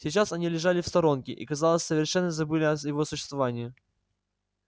сейчас они лежали в сторонке и казалось совершенно забыли о его существовании